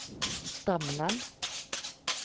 Stamnan